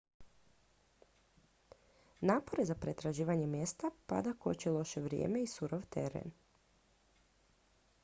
napore za pretraživanje mjesta pada koči loše vrijeme i surov teren